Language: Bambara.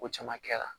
Ko caman kɛra